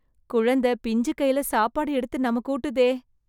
குழந்தை பிஞ்சு கைல சாப்பாடு எடுத்து நமக்கு ஊட்டுதே.